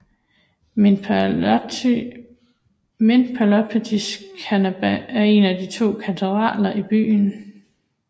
Metropolitan Cathedral er én af to katedraler i byen